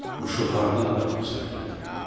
Quşu hardan tapıb sənə gətirim?